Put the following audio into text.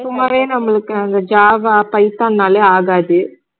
சும்மாவே நம்மளுக்கு அந்த java, python னாலே ஆகாது